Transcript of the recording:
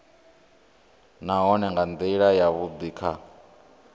nahone nga ndila yavhudi kha